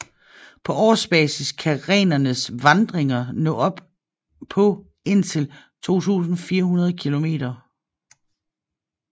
På årsbasis kan renernes vandringer nå op på indtil 2400 km